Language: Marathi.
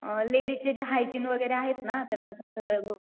अ लेडीज चे जे हायजिन वगैरे आहेत ना